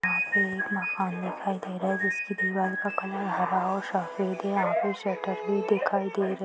यहाँ पे एक मकान दिखाई दे रहा है जिसकी दीवार का कलर हरा और सफ़ेद यहाँ पे शटर भी दिखाई दे--